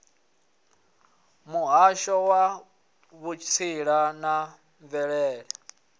muhasho wa vhutsila na mvelele